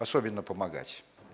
особенно помогать